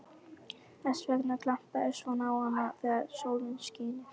Þess vegna glampaði svona á hana þegar sólin skini.